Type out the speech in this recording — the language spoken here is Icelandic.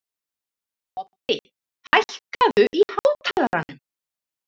Oddi, hækkaðu í hátalaranum.